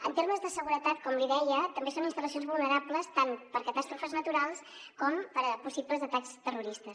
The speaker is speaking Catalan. en termes de seguretat com li deia també són instal·lacions vulnerables tant per a catàstrofes naturals com per a possibles atacs terroristes